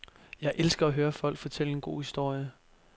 Jeg elsker at høre folk fortælle en god historie.